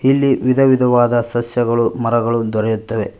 ಇಲ್ಲಿ ವಿಧ ವಿಧವಾದ ಸಸ್ಯಗಳು ಮರಗಳು ದೊರೆಯುತ್ತವೆ.